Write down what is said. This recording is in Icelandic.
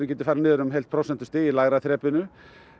geti farið niður um heilt prósentustig í lægra þrepinu